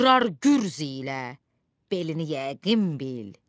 qırar gürz ilə belini yəqin bil,